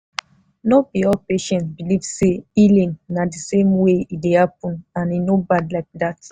no be all patient believe say healing na the same way e dey happen and e no bad like that.